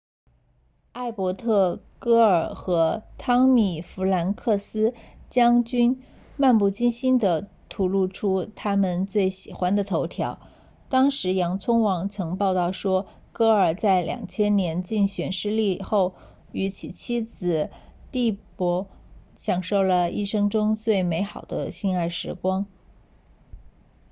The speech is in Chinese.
艾伯特戈尔和汤米弗兰克斯将军漫不经心地吐露出他们最喜欢的头条当时洋葱网曾报道说戈尔在2000年竞选失利后与其妻子蒂珀享受了一生中最美好的性爱时光